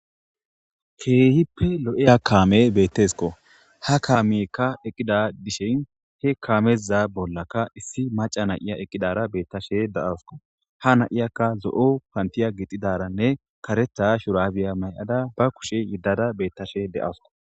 Keehippe lo'eya kaame bettesko ha kaamiykka eqqida dishen he kaameza bollaka issi maca nayiya eqqidara beettashe da'awsko ha na7iyakka zo'o pantiya gixidaranne karetha shurabiya may'ada ba kushe yiddada beettashe de'asko.